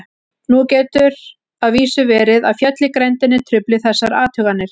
Nú getur að vísu verið að fjöll í grenndinni trufli þessar athuganir.